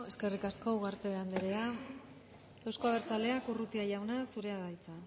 eskerrik asko ugarte andrea euzko abertzaleak urrutia jauna zurea da hitza